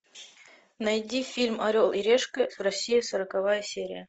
найди фильм орел и решка россия сороковая серия